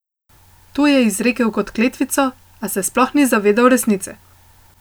To je izrekel kot kletvico, a se sploh ni zavedal resnice.